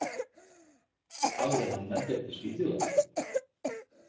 Hafðu hann með þér til Svíþjóðar.